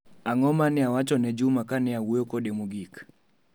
Ag'o mane ne awacho ne juma kane awuoyo kode mogik?